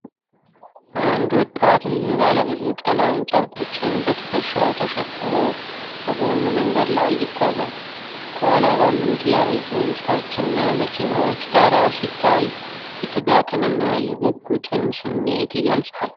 አንድ ወጣት ብዙ ባለብዙ ቀለም ጨርቆችን በትከሻው ተሸክሞ በጎን መንገድ ላይ ይጓዛል። ከኋላ ባሉት ያረጁ ሕንፃዎችና መኪናዎች ዳራ ሲታይ የትጋትንና የጉጉትን ስሜት ይገልጻል።